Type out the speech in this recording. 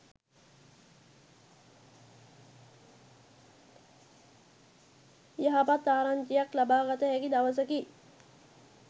යහපත් ආරංචියක් ලබාගත හැකි දවසකි